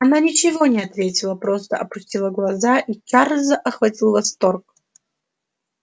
она ничего не ответила просто опустила глаза и чарльза охватил восторг